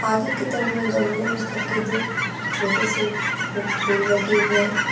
आगे की तरफ में गमले में करके दो छोटे से फू फूल लगे हुए हैं।